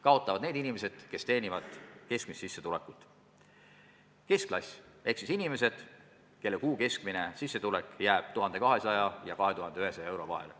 Kaotavad need inimesed, kes teenivad keskmist sissetulekut: keskklass ehk siis inimesed, kelle kuu keskmine sissetulek jääb 1200 ja 2100 euro vahele.